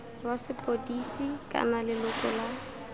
wa sepodisi kana leloko la